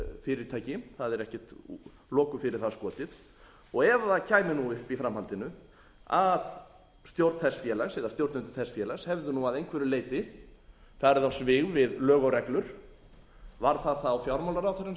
fyrirtæki það er ekkert loku fyrir það skotið og ef það kæmi upp í framhaldinu að stjórn þess félags eða stjórnendur þess félags hefðu að einhverju leyti farið á svig við lög og reglur var það þá fjármálaráðherrann